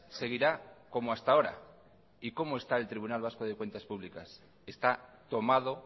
seguirá como hasta ahora y cómo está el tribunal vasco de cuentas públicas está tomado